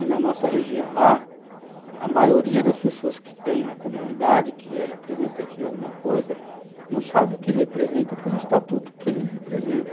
e na nossa região lá, a maioria das pessoas que tem na comunidade, que é representante de alguma coisa, não sabe o que representa pelo estatuto que ele representa.